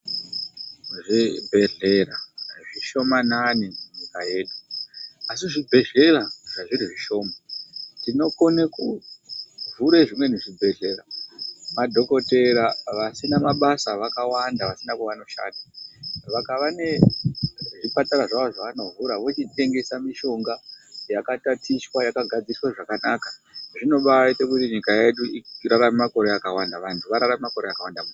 Zvibhehlera zvishomanani munyika yedu, asi zvibhehlera zvazviri zvishoma tinokone kuvhure zvimweni zvibhehlera. Madhokodhera vasina mabasa vakawamda vasina kwavanoshanda. Vakava nezvipatara zvavo zvavabovhura, vochitengesa mishonga yakatatichwa yakagadzirwa zvakanaka zvinobaaite kuti nyika yedu tirarame makore akawanda, vantu vararame makore akawanda.